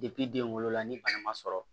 den wolola ni bana ma sɔrɔ